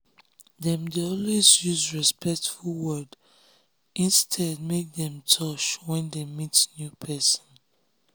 dem dey always use respectful word instead make dem touch when dem meet new pesin